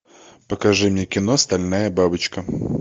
покажи мне кино стальная бабочка